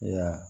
Ya